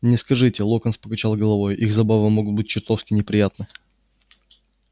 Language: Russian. не скажите локонс покачал головой их забавы могут быть чертовски неприятны